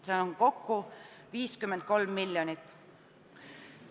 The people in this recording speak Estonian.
See on kokku 53 miljonit.